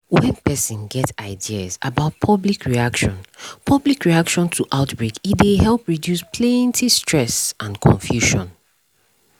when person get ideas about public reaction public reaction to outbreak e dey help reduce plenty stress and confusion